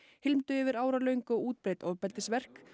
hylmdu yfir áralöng og útbreidd ofbeldisverk